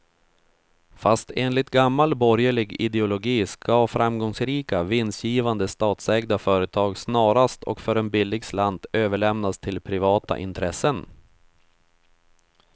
Fast enligt gammal borgerlig ideologi ska framgångsrika, vinstgivande statsägda företag snarast och för en billig slant överlämnas till privata intressen.